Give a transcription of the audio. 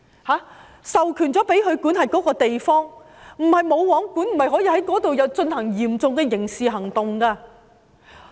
他們被授權管轄那個地方，大學不是"無皇管"的，學生不可以在校內進行嚴重的刑事行為。